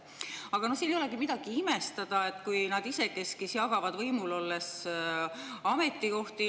Aga no siin ei olegi midagi imestada, kui nad isekeskis jagavad võimul olles ametikohti.